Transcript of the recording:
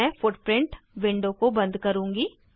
अब मैं footprint window को बंद करुँगी